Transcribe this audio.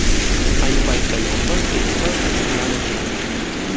Ayni paytda yong‘in ekipaj kuchi bilan o‘chirilgan.